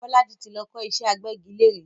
Bolaji tí lọ kọ́ ìṣẹ́ agbẹ́gilére